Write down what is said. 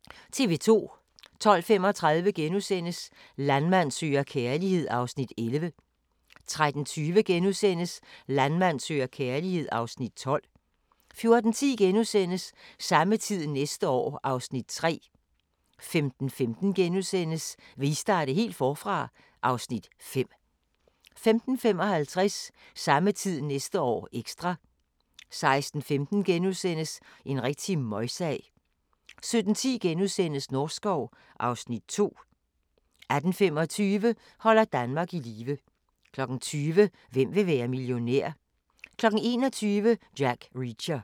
12:35: Landmand søger kærlighed (Afs. 11)* 13:20: Landmand søger kærlighed (Afs. 12)* 14:10: Samme tid næste år (Afs. 3)* 15:15: Vil I starte helt forfra? (Afs. 5)* 15:55: Samme tid næste år - ekstra 16:15: En rigtig møgsag * 17:10: Norskov (Afs. 2)* 18:25: Holder Danmark i live 20:00: Hvem vil være millionær? 21:00: Jack Reacher